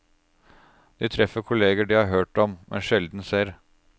De treffer kolleger de har hørt om, men sjelden ser.